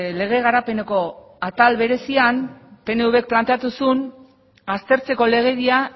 lege garapeneko atal berezian pnvk planteatu zuen aztertzeko legedia